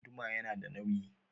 Guduma yana da nawi